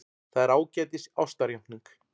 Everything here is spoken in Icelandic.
Það er ágætis ástarjátning.